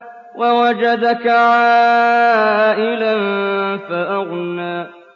وَوَجَدَكَ عَائِلًا فَأَغْنَىٰ